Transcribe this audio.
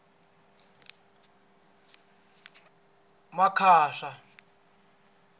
makhasa